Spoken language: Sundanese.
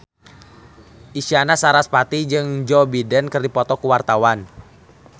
Isyana Sarasvati jeung Joe Biden keur dipoto ku wartawan